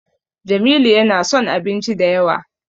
Jamilu yana son abinci da yawa.